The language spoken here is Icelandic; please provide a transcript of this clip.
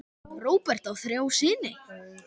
Róbert á þrjá syni.